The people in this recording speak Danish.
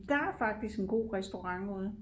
Der er faktisk en god restaurant ude